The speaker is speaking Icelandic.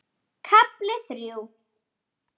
KAFLI ÞRJÚ